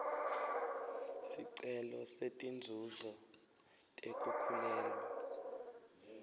sicelo setinzuzo tekukhulelwa